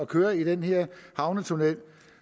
køre i den her havnetunnel